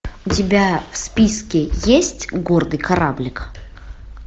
у тебя в списке есть гордый кораблик